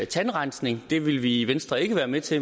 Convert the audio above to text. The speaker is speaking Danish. tandrensning det vil vi i venstre ikke være med til